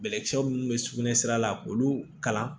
Bɛlɛkisɛ minnu bɛ sugunɛsira la k'olu kalan